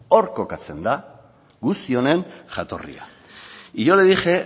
hor kokatzen da guzti honen jatorria y yo le dije